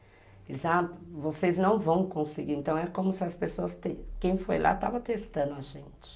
Eles ah, vocês não vão conseguir, então é como se as pessoas, quem foi lá estava testando a gente.